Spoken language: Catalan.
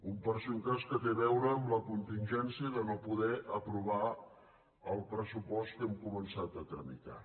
un per si un cas que té a veure amb la contingència de no poder aprovar el pressupost que hem començat a tramitar